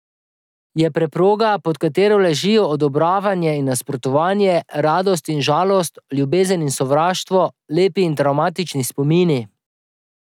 Je preproga, pod katero ležijo odobravanje in nasprotovanje, radost in žalost, ljubezen in sovraštvo, lepi in travmatični spomini...